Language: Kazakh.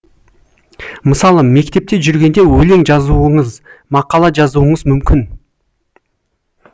мысалы мектепте жүргенде өлең жазуыңыз мақала жазуыңыз мүмкін